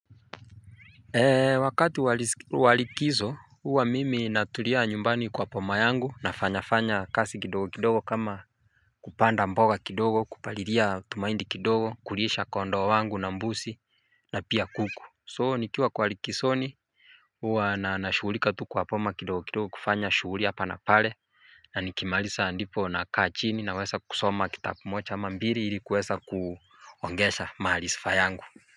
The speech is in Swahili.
Eee wakati wa likizo huwa mimi natulia nyumbani kwa boma yangu nafanya fanya kazi kidogo kidogo kama kupanda mboga kidogo kupalilia tu mahindi kidogo kulisha kondoo wangu na mbuzi na pia kuku so nikiwa kwa likizoni huwa na nashughulika tu kwa boma kidogo kidogo kufanya shughuli hapa na pale. Na nikimaliza ndipo nakaa chini naweza kusoma kitabu moja ama mbili ili kuweza kuongeza maarifa yangu.